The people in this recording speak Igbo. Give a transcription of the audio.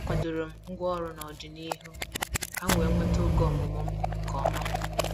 A kwadoro m ngwaọrụ nọdịnihu ka m wee nweta oge ọmụmụ m nke ọma.